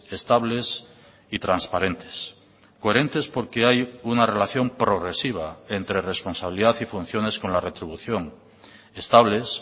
estables y transparentes coherentes porque hay una relación progresiva entre responsabilidad y funciones con la retribución estables